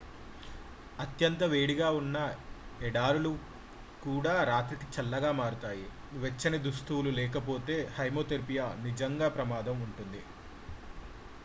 అత్యంత వేడిగా ఉన్న ఎడారులు కూడా రాత్రికి చాలా చల్లగా మారుతాయి వెచ్చని దుస్తులు లేకపోతే హైపోథెర్మియా నిజంగా ప్రమాదంగా ఉంటుంది